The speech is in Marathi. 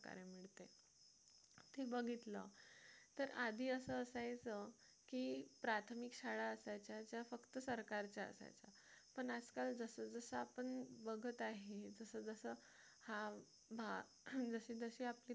ते बघितलं तर आधी असं असायचं की प्राथमिक शाळा असायच्या फक्त सरकारच्या असायच्या पण आजकाल जसजसं आपण बघत आहे जसं जसं हा जसं जसं आपले